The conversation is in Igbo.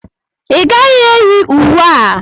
Ị gaghị eyi uwe a!